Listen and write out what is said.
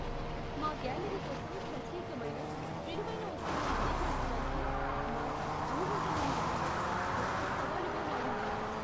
మా గ్యాలరీ కోసం ప్రత్యేకమైన, విలువైన వస్తువులను సేకరించడానికి మార్కెట్ ఊహించలేని విధంగా, గొప్ప సవాలుగా మారింది.